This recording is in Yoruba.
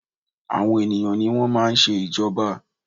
Àwọn ènìyàn ní wọ́n máa ń ṣe ìjọba.